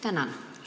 Tänan!